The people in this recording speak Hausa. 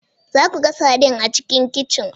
Za ku ga sardine a cikin kicin